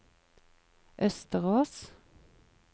Østerås